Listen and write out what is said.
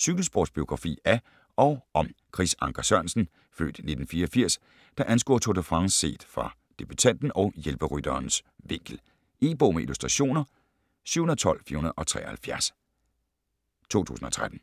Cykelsportsbiografi af og om Chris Anker Sørensen (f. 1984), der anskuer Tour de France set fra debutanten og hjælperytterens vinkel. E-bog med illustrationer 712473 2013.